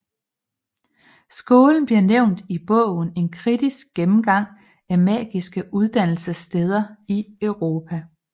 Skolen bliver nævnt i bogen En kritisk gennemgang af Magiske Uddannelsessteder i Europa